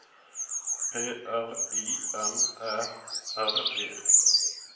P R I M Æ R E